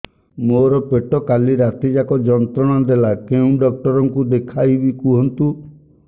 ମୋର ପେଟ କାଲି ରାତି ଯାକ ଯନ୍ତ୍ରଣା ଦେଲା କେଉଁ ଡକ୍ଟର ଙ୍କୁ ଦେଖାଇବି କୁହନ୍ତ